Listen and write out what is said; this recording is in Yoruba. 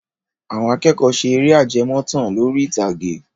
Àwọn akẹ́kọ̀ọ́ ṣe eré ajẹmọ́tàn lórí ìtàgé.